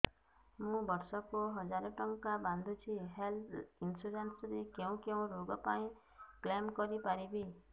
ମୁଁ ବର୍ଷ କୁ ହଜାର ଟଙ୍କା ବାନ୍ଧୁଛି ହେଲ୍ଥ ଇନ୍ସୁରାନ୍ସ ରେ କୋଉ କୋଉ ରୋଗ ପାଇଁ କ୍ଳେମ କରିପାରିବି